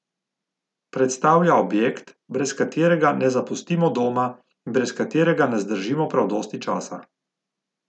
Predstavlja objekt, brez katerega ne zapustimo doma in brez katerega ne zdržimo prav dosti časa.